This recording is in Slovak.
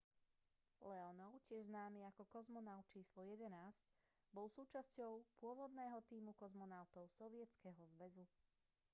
leonov tiež známy ako kozmonaut č 11 bol súčasťou pôvodného tímu kozmonautov sovietskeho zväzu